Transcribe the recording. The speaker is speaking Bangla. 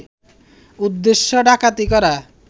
উদ্দেশ্য ডাকাতি করা